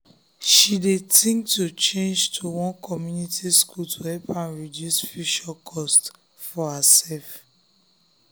she dey think to change to one comunity school to help am reduce futere cost for herself